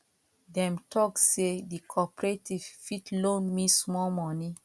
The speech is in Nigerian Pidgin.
dem tok sey di corporative fit loan me small moni